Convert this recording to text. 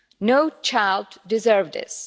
No child deserves this.